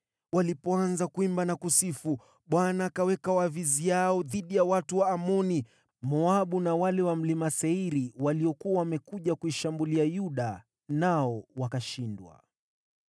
Walipoanza kuimba na kusifu, Bwana akaweka waviziao dhidi ya watu wa Amoni, Moabu na wale wa Mlima Seiri waliokuwa wamekuja kuishambulia Yuda, nao wakashindwa.